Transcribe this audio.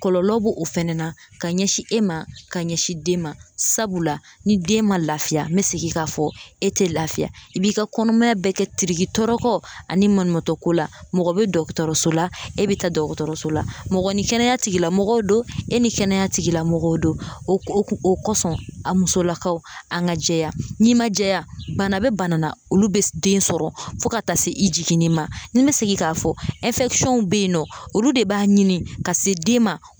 Kɔlɔlɔ b'o o fɛnɛ na ka ɲɛsin e ma ka ɲɛsin den ma sabula ni den ma lafiya n me segin k'a fɔ e te lafiya i b'i ka kɔnɔmaya bɛɛ kɛ tirikitɔrɔkɔ ani maɲumantɔko la mɔgɔ be dɔgɔtɔrɔso la e be taa dɔgɔtɔrɔso la mɔgɔ ni kɛnɛya tigilamɔgɔw don e ni kɛnɛya tigilamɔgɔw don o o kun o kɔsɔn a musolakaw an ga jɛya n'i ma jɛya bana be bana la olu be s den sɔrɔ fɔ ka taa se i jiginni ma ni n be segin k'a fɔ ɛnfɛkisɔnw be yen nɔ olu de b'a ɲini ka se den ma